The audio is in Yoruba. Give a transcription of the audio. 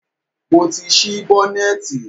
Mo ti ṣí bọ́nẹ̀tì.